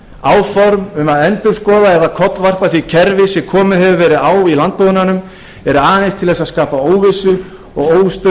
áform um að endurskoða eða kollvarpa því kerfi sem komið hefur verið á í landbúnaðinum er aðeins til að skapa óvissu og óstöðugleika hjá